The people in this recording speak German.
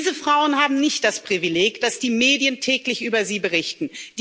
Diese Frauen haben nicht das Privileg, dass die Medien täglich über sie berichten.